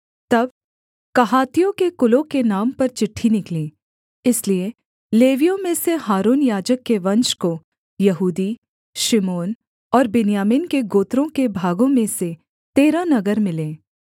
तब कहातियों के कुलों के नाम पर चिट्ठी निकली इसलिए लेवियों में से हारून याजक के वंश को यहूदी शिमोन और बिन्यामीन के गोत्रों के भागों में से तेरह नगर मिले